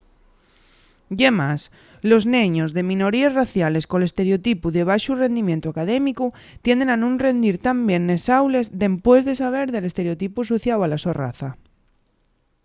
ye más los neños de minoríes raciales col estereotipu de baxu rendimientu académicu tienden a nun rendir tan bien nes aules dempués de saber del estereotipu asociáu a la so raza